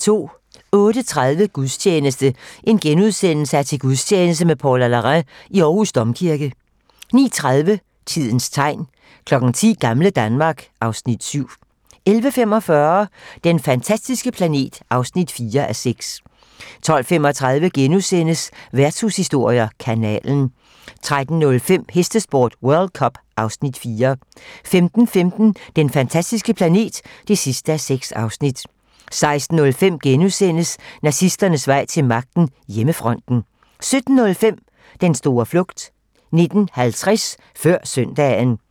08:30: Gudstjeneste: Til gudstjeneste med Paula Larrain i Aarhus Domkirke * 09:30: Tidens tegn 10:00: Gamle Danmark (Afs. 7) 11:45: Den fantastiske planet (4:6) 12:35: Værtshushistorier: Kanalen * 13:05: Hestesport: World cup (Afs. 4) 15:15: Den fantastiske planet (6:6) 16:05: Nazisternes vej til magten: Hjemmefronten * 17:05: Den store flugt 19:50: Før søndagen